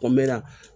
Kɔmɛna